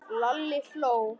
Lalli hló.